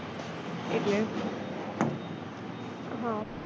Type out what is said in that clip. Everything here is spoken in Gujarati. એટલે